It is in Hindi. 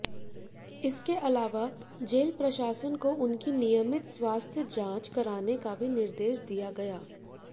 इसके अलावा जेल प्रशासन को उनकी नियमित स्वास्थ्य जांच कराने का भी निर्देश दिया गया